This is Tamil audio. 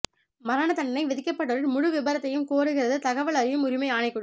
மரண தண்டனை விதிக்கப்பட்டோரின் முழு விபரத்தையும் கோருகிறது தகவல் அறியும் உரிமை ஆணைக்குழு